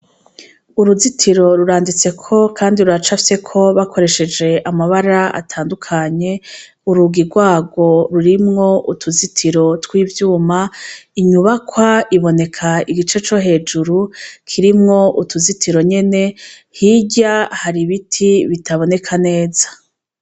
Uruzitiro ruranditseko, kandi ruracafyeko bakoresheje amabara atandukanye urugi rwayo rurimwo utuzitiro tw'ivyuma inyubakwa iboneka igice co hejuru kirimwo utuzitiro nyene hirya hari ibiti bitaboneka neza.